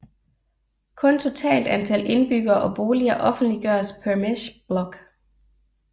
Kun totalt antal indbyggere og boliger offentliggøres per mesh block